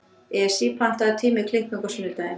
Esí, pantaðu tíma í klippingu á sunnudaginn.